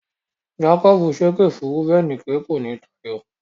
Jákọ́bù ṣépè fún Rúbẹ́nì pé, kò ní táyọ.